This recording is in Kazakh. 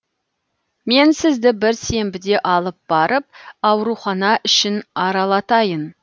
мен сізді бір сенбіде алып барып аурухана ішін аралатайын